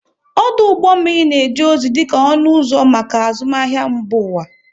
Ọdụ ụgbọ mmiri na-eje ozi dị ka ọnụ ụzọ maka azụmahịa mba ụwa.